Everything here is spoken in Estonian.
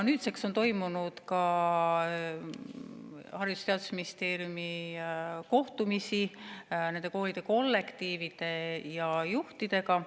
Nüüdseks on toimunud Haridus‑ ja Teadusministeeriumil ka kohtumisi nende koolide kollektiivide ja juhtidega.